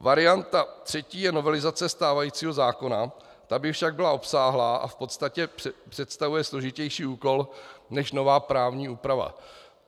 Varianta třetí je novelizace stávajícího zákona, ta by však byla obsáhlá a v podstatě představuje složitější úkol než nová právní úprava.